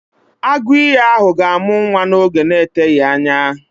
Agụ ìyì ahụ ga-amụ nwa n'oge na-eteghị anya